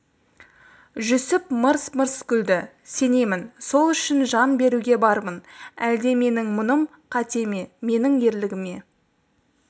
жүсіп мырс-мырс күлді сенемін сол үшін жан беруге бармын әлде менің мұным қате ме менің ерлігіме